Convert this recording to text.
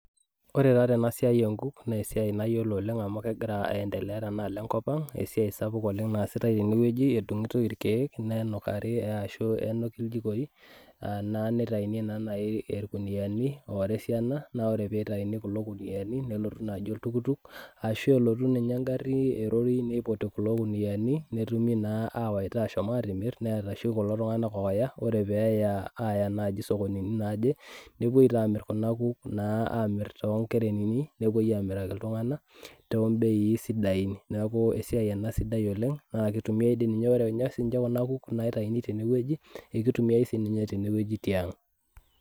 Ore taa tena siai onkuk naa esiai naa esiai nayiolo oleng amu kegira aendelea tenaalo enkop ang , esiai sapuk oleng nasitae tene wueji , edungitoi irkiek , nenukari ashu nenuki inyjikoi anaa nitaini naa nai irkuniani ora esiana naa ore pitaini kulo kuniani nelotu naji oltuktuk, ashu elotu ninye engari, niputi kulo kuniani netumi naa awwita ashom atimir neeta oshi kulo tunganak oya , ore peya aya naji sokonini naje nepuoi taa amir kuna kuk naa amir toonkerernini , nepuoi amiraki iltunganak tombeii sidain, neaku esiai ena sidai oleng naa kitumiay dii sininye ore nche kuna kuk naitayuni tenewueji ekitumiay sinye tenewueji tiang.